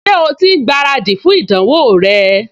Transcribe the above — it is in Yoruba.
Ṣé o ti ń gbáradì fún ìdánwò rẹ?